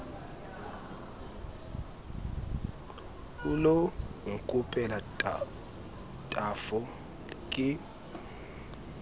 o lo nkopela tafo ke